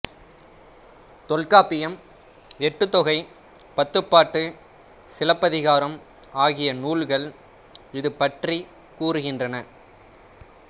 தொல்காப்பியம் எட்டுத்தொகை பத்துப்பாட்டு சிலப்பதிகாரம் ஆகிய நூல்கள் இது பற்றிக் கூறுகின்றன